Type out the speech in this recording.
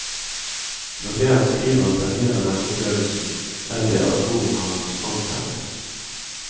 Når det han skriver tangerer denne opplevelsen, er det at ordene hans antennes.